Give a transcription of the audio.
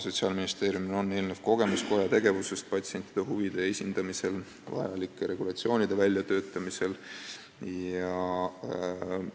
Sotsiaalministeeriumil on eelnev kogemus koja tegevusest, kes regulatsioonide väljatöötamisel on esindanud patsientide huve.